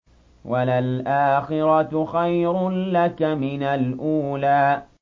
وَلَلْآخِرَةُ خَيْرٌ لَّكَ مِنَ الْأُولَىٰ